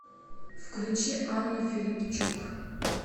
включи анну филипчук